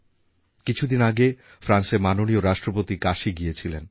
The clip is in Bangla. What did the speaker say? কিছুদিন আগে ফ্রান্সের মাননীয় রাষ্ট্রপতি কাশী গিয়েছিলেন